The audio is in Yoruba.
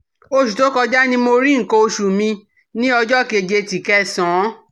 Osu to koja ni mo ri nkan osu mi ni ojo keje ti Kẹsán